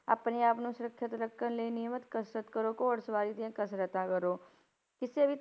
ਆਪਣੇ ਆਪ ਨੂੰ ਸੁਰੱਖਿਅਤ ਰੱਖਣ ਲਈ, ਨਿਯਮਤ ਕਸਰਤ ਕਰੋ, ਘੋੜ ਸਵਾਰੀ ਦੀਆਂ ਕਸਰਤਾਂ ਕਰੋ, ਕਿਸੇ ਵੀ